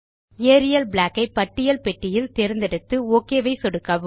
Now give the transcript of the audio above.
Ariel black ஐ பட்டியல் பெட்டியில் தேர்ந்தெடுத்து ஒக் மீது சொடுக்கவும்